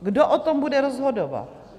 Kdo o tom bude rozhodovat?